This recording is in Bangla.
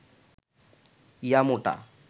ইয়া মোটা